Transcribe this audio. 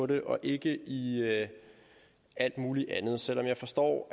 det og ikke i alt mulig andet selv om jeg forstår